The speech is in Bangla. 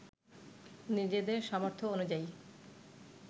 নিজেদের সামর্থ্য অনুযায়ী